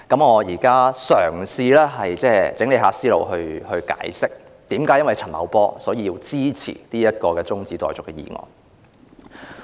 我現在嘗試整理思路，解釋為何因為陳茂波而支持這項中止待續議案。